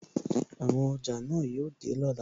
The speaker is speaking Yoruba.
Àwọn ọjà náà yóò dé lọ́la.